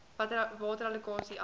water allokasie asook